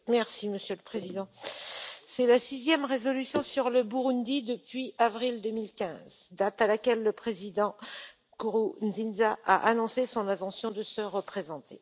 Monsieur le Président, c'est la sixième résolution sur le Burundi depuis avril 2015, date à laquelle le président Nkurunziza a annoncé son intention de se représenter.